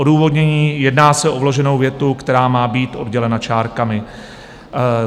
Odůvodnění: Jedná se o vloženou větu, která má být oddělena čárkami.